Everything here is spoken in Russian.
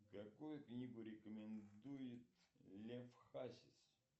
какую книгу рекомендует лев хасис